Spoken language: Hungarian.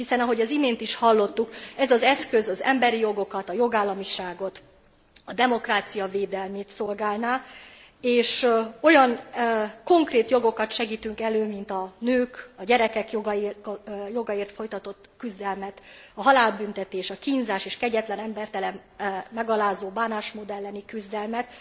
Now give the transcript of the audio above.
Hiszen ahogy az imént is hallottuk, ez az eszköz az emberi jogokat, a jogállamiságot, a demokrácia védelmét szolgálná, és olyan konkrét jogokat segítünk elő, mint a nők, a gyerekek jogaiért folytatott küzdelem, a halálbüntetés, a kínzás és kegyetlen, embertelen, megalázó bánásmód elleni küzdelem.